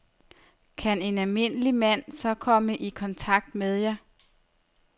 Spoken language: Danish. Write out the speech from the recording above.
Kan en almindelig mand så komme i kontakt med jer?